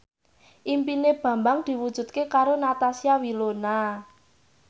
impine Bambang diwujudke karo Natasha Wilona